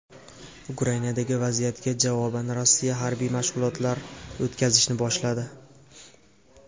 Ukrainadagi vaziyatga javoban Rossiya harbiy mashg‘ulotlar o‘tkazishni boshladi.